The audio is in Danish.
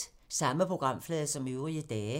Samme programflade som øvrige dage